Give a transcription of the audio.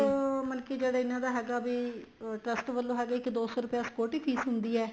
payment ਮਤਲਬ ਕੀ ਜਿਹੜੀ ਇਹਨਾ ਦਾ ਹੈਗਾ ਵੀ trust ਵਲੋਂ ਹੈਗਾ ਦੋ ਸੋ ਰੁਪਇਆ security fess ਹੁੰਦੀ ਏ